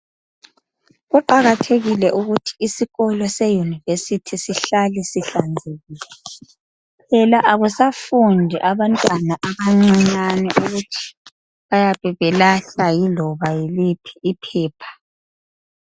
Kuqakathekile ukuthi isikolo seyunivesithi sihlale sihlanzekile phela akusafundi abantwana abancane ukuthi bayabebelahla yiloba yiliphi iphepha.